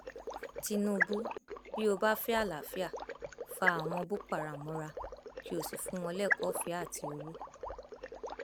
tinubu bí ó bá fẹ àlàáfíà fa àwọn boko haram mọra kí ó sì fún wọn lẹkọọọfẹ àti owó